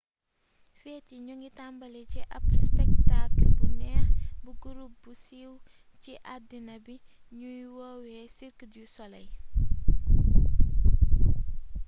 feet yi ñoo ngi tambali ci ab spektaakal bu neex bu gurup bu siiw ci addina bi ñuy woowee cirque du soleil